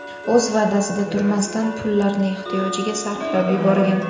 o‘z va’dasida turmasdan, pullarni ehtiyojiga sarflab yuborgan.